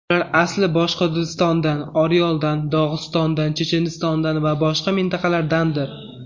Ular asli Boshqirdistondan, Oryoldan, Dog‘istondan, Chechenistondan va boshqa mintaqalardandir.